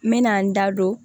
N mɛna n da don